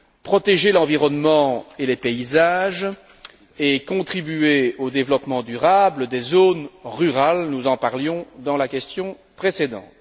protéger l'environnement et les paysages et contribuer au développement durable des zones rurales nous en parlions dans la question précédente.